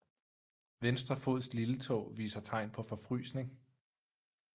Venstre fods lilletå viser tegn på forfrysning